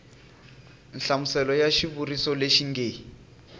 nhlamuselo ya xivuriso lexi nge